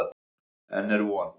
Enn er von.